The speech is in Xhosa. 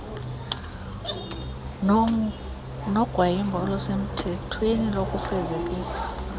nogwayimbo olusemthethweni lokufezekisa